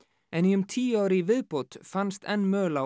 en í um tíu ár í viðbót fannst enn möl á